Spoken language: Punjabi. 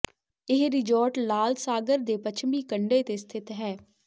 ਇਹ ਰਿਜੋਰਟ ਲਾਲ ਸਾਗਰ ਦੇ ਪੱਛਮੀ ਕੰਢੇ ਤੇ ਸਥਿਤ ਹੈ